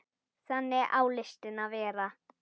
Þannig á listin að vera.